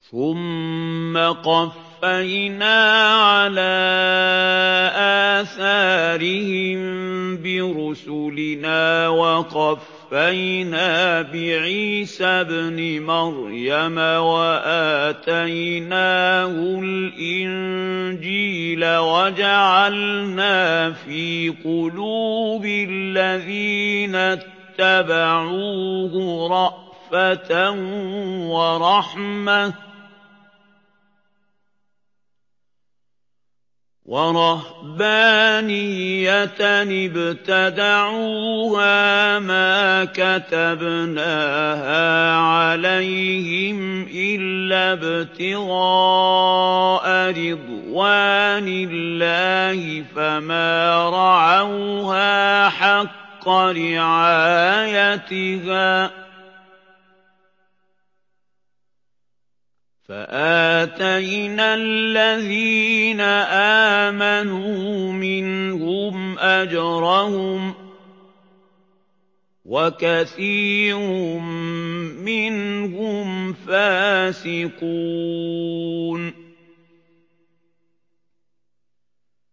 ثُمَّ قَفَّيْنَا عَلَىٰ آثَارِهِم بِرُسُلِنَا وَقَفَّيْنَا بِعِيسَى ابْنِ مَرْيَمَ وَآتَيْنَاهُ الْإِنجِيلَ وَجَعَلْنَا فِي قُلُوبِ الَّذِينَ اتَّبَعُوهُ رَأْفَةً وَرَحْمَةً وَرَهْبَانِيَّةً ابْتَدَعُوهَا مَا كَتَبْنَاهَا عَلَيْهِمْ إِلَّا ابْتِغَاءَ رِضْوَانِ اللَّهِ فَمَا رَعَوْهَا حَقَّ رِعَايَتِهَا ۖ فَآتَيْنَا الَّذِينَ آمَنُوا مِنْهُمْ أَجْرَهُمْ ۖ وَكَثِيرٌ مِّنْهُمْ فَاسِقُونَ